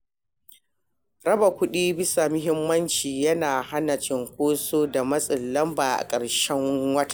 Raba kuɗi bisa mahimmanci yana hana cunkoso da matsin lamba a ƙarshen wata.